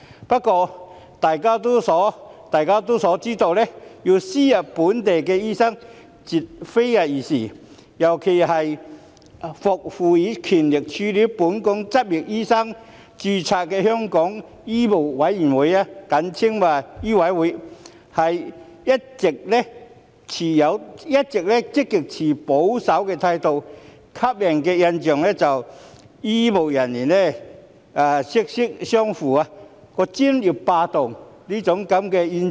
不過，眾所周知，要輸入非本地培訓醫生，絕非易事，尤其是獲賦予權力處理本港執業醫生註冊的香港醫務委員會，一直持極保守的態度，予人"醫醫相衞"、"專業霸道"的明顯印象。